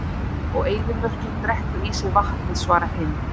Og eyðimörkin drekkur í sig vatnið svarar Hind.